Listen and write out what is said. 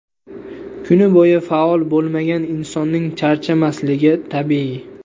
Kuni bo‘yi faol bo‘lmagan insonning charchamasligi tabiiy.